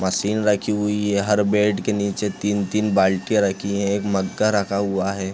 Machine रखी हुई है हर बैड के नीचे तीन-तीन बाल्टीया रखी हैं एक मग्गा रखा हुआ है।